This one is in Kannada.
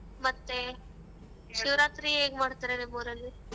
ಮತ್ತೇ ಶಿವರಾತ್ರಿ ಹೇಗ್ ಮಾಡ್ತಾರೆ ನಿಮ್ ಊರಲ್ಲಿ ?